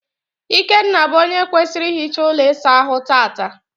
Ikenna bụ onye kwesịrị ihicha ụlọ ịsa ahụ tata.